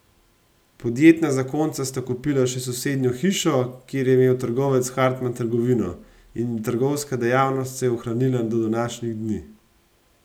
Podjetna zakonca sta kupila še sosednjo hišo, kjer je imel trgovec Hartman trgovino, in trgovska dejavnost se je ohranila do današnjih dni.